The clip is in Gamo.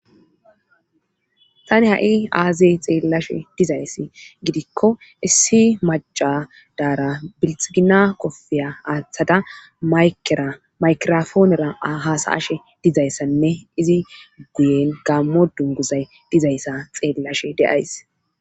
Tani ha'''i aazey xeellashe dizayssi gidikko issi maca daara bilxgina qofeya aaththada mayeramaykirofoonera hasaashe dizayssanne izi guyen gaammo dunguzay dizayssa xeellashe deays.